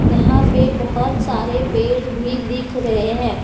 यहां पे बहोत सारे पेड़ भी दिख रहे हैं।